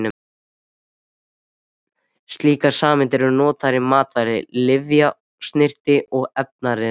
Slíkar sameindir eru notaðar í matvæla-, lyfja-, snyrti- og efnaiðnaði.